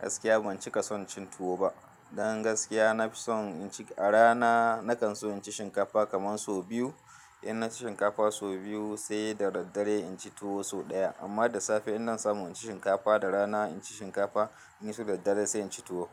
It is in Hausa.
Gaskiya ban cika son cin tuwo ba. Don gaskiya, na fi son inci a rana na kan so inci shinkafa kaman so biyu. In naci shinkafa so biyu sai da daddare inci tuwo so ɗaya. Amma da safe in na samu inci shinkafa da rana inci shinkafa, in ya so daddare sai inci tuwo.